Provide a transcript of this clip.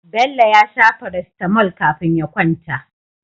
Bello ya sha Paracetamol kafin ya kwanta